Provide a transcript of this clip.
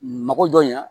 Mako dɔn in